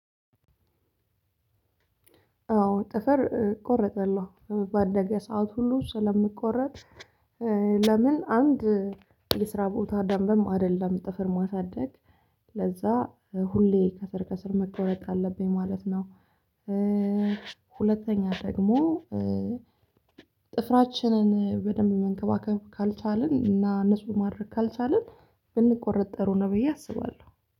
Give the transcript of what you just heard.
አዎ ጥፍር እቆረጠለሁ በአደገ ሰዓት ሁሉ ስለምቆረጥ። ለምን አንድ የስራ ቦታ ደንብም አይደለም ጥፍር ማሳደግ ለዛ ሁሌ ከስር ከስር መቆረጥ አለብኝ ማለት ነው። ሁለተኛ ደግሞ። ጥፍራችንን በደንብ መንከባከብ ካልቻልን እና ንጹህ ማድረግ ካልቻልን ብንቆረጥ ጥሩ ነው ብየ አስባለሁ